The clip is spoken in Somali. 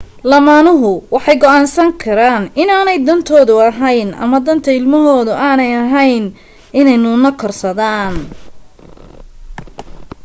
lamaanuhu waxay go'aansan karaan inaanay dantoodu ahayn ama danta ilmahooda aanay ahayn inay nuune korsadaan